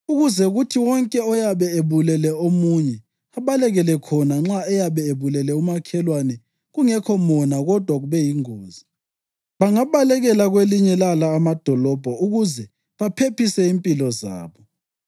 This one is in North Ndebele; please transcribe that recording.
ukuze kuthi wonke oyabe ebulele omunye abalekele khona nxa eyabe ebulele umakhelwane kungekho mona kodwa kube yingozi. Bangabalekela kwelinye lala amadolobho ukuze baphephise impilo zabo.